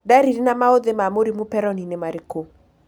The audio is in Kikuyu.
Ndariri na maũthĩ ma mũrimũ Peyronie nĩ marikũ?